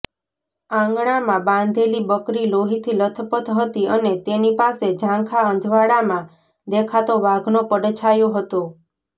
આંગણામાં બાંધેલી બકરી લોહીથી લથપથ હતી અને તેની પાસે ઝાંખા અજવાળામાં દેખાતો વાઘનો પડછાયો હતો